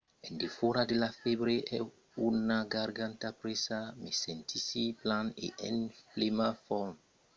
en defòra de la fèbre e una garganta presa me sentissi plan e en plena forma per me trachar de mon trabalh en teletrabalhant